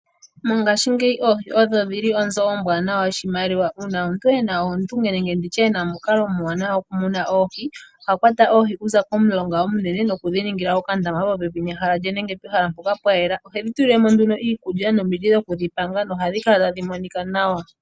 Mongashingeyi oohi odho dhili onzo ombwanawa yoshimaliwa, uuna omuntu ena oondunge nenge nditye ena omukalo omuwanawa gokumuna oohi, oha kwata oohi okuza komulonga omunene nokudhi ningila okandama popepi nehala lye nenge pehala mpoka pwayela. Ohedhi tulile mo nduno iikulya, nomiti dhokudhi panga nohadhi kala tadhi monika nawa.